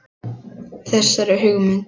Þessari hugmynd